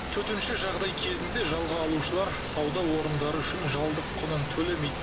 төтенше жағдай кезінде жалға алушылар сауда орындары үшін жалдық құнын төлемейді